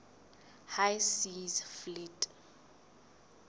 high seas fleet